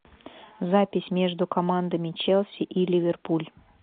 запись между командами челси и ливерпуль